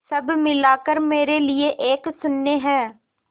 सब मिलाकर मेरे लिए एक शून्य है